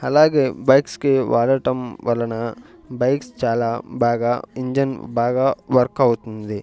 అలాగే బైక్స్ కి వాడటం వలన బైక్స్ చాలా బాగా ఇంజన్ బాగా వర్క్ అవుతుంది.